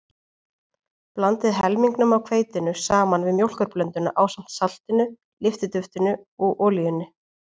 Blandið helmingnum af hveitinu saman við mjólkurblönduna ásamt saltinu, lyftiduftinu og olíunni.